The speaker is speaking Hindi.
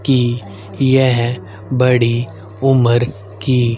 कि यह बड़ी उमर की--